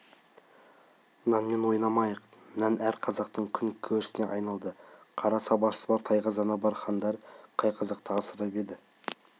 нанмен ойнамайық нан әр қазақтың күн керісіне айналды қара сабасы бар тайқазаны бар хандар қай қазақты асырап еді